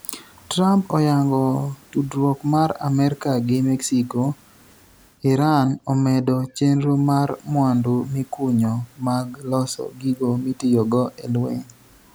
Trump oyango tudruok mar Amerka gi Mexico Iran omedo chenro mar mwandu mikunyo mag loso gigo mitiyogo e lweny